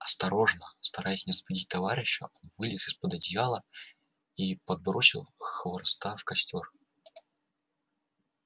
осторожно стараясь не разбудить товарища он вылез из под одеяла и подбросил хвороста в костёр